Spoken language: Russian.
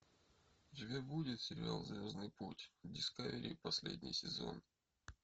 у тебя будет сериал звездный путь дискавери последний сезон